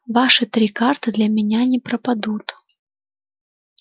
ваши три карты для меня не пропадут